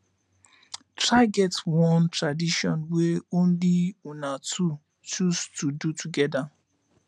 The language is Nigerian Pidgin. try get one tradition wey only una two choose to do togeda